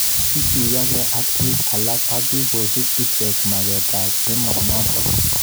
Kituyokei ak bik alak ak kikosub icheket maket ab emonotok.